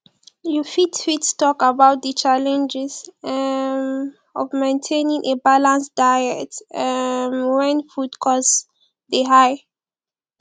you fit fit talk about di challenges um of maintaining a balanced diet um when food costs dey high